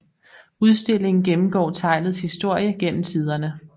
Udstillingen gennemgår teglets historie gennem tiderne